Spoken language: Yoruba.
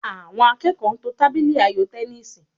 Àwọn akẹ́kọ̀ọ́ ń to tábìlì ayò tẹníìsì